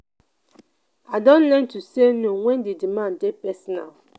i don learn to say no wen di demand dey personal.